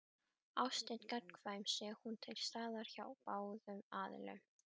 Ást er gagnkvæm sé hún til staðar hjá báðum aðilum.